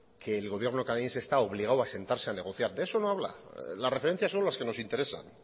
que el gobierno canadiense está obligado a sentarse a negociar de eso no habla las referencias son las que nos interesan